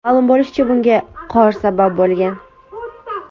Ma’lum bo‘lishicha, bunga qor sabab bo‘lgan.